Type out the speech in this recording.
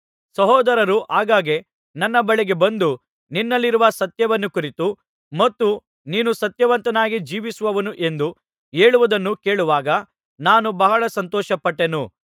ಸಹೋದರರು ಆಗಾಗ್ಗೆ ನನ್ನ ಬಳಿಗೆ ಬಂದು ನಿನ್ನಲ್ಲಿರುವ ಸತ್ಯವನ್ನು ಕುರಿತು ಮತ್ತು ನೀನು ಸತ್ಯವಂತನಾಗಿ ಜೀವಿಸುವವನು ಎಂದು ಹೇಳುವುದನ್ನು ಕೇಳುವಾಗ ನಾನು ಬಹಳ ಸಂತೋಷಪಟ್ಟೆನು